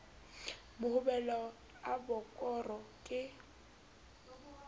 mohobelo a b kgoro ke